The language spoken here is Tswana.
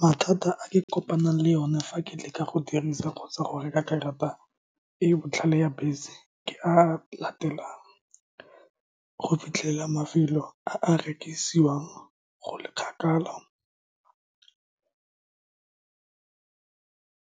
Mathata a ke kopanang le one fa ke leka go dirisa kgotsa go reka karata e e botlhale ya bese, ke a a latelang go fitlhela mafelo a a rekisiwang go le kgakala,